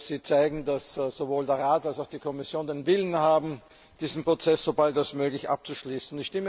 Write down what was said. Sie zeigen, dass sowohl der Rat als auch die Kommission den Willen haben, diesen Prozess so bald wie möglich abzuschließen.